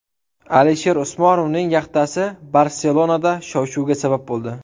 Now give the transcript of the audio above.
Alisher Usmonovning yaxtasi Barselonada shov-shuvga sabab bo‘ldi .